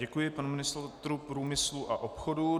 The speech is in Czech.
Děkuji panu ministru průmyslu a obchodu.